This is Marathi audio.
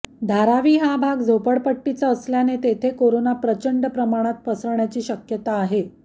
धारावी हा भाग झोपडपट्टीचा असल्याने तेथे कोरोना प्रचंड प्रमाणात पसरण्याची शक्यता आहे